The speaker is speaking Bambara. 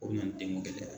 O bɛ na ni denko gɛlɛya ye